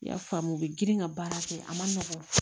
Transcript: I y'a faamu u bɛ girin ka baara kɛ a ma nɔgɔ